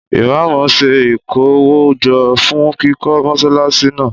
Ìmámù ń se ìkówójo fún kíkọ́ Mọ́ṣáláṣí náà